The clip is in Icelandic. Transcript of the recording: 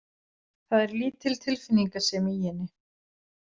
Það er lítil tilfinningasemi í henni.